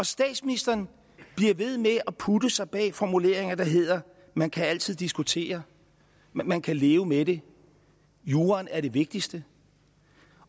statsministeren bliver ved med at putte sig bag formuleringer der hedder man kan altid diskutere man kan leve med det juraen er det vigtigste